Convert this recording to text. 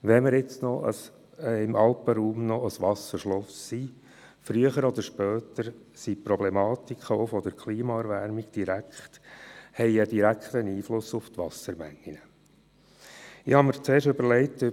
Selbst wenn der Alpenraum noch ein Wasserschloss ist – früher oder später werden die Problematiken der Klimaerwärmung einen direkten Einfluss auf die Wassermengen haben.